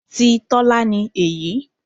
Ti Tọ́lá ni èyí.